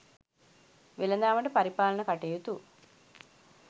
වෙළදාමට පරිපාලන කටයුතු